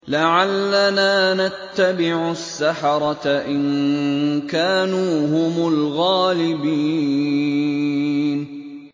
لَعَلَّنَا نَتَّبِعُ السَّحَرَةَ إِن كَانُوا هُمُ الْغَالِبِينَ